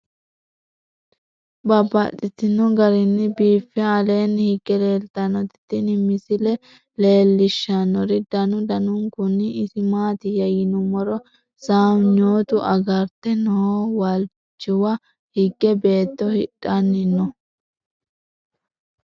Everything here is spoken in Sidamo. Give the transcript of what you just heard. Babaxxittinno garinni biiffe aleenni hige leelittannotti tinni misile lelishshanori danu danunkunni isi maattiya yinummoro sawanyottu agaritte noo walichiwa hige beetto hadhanni noo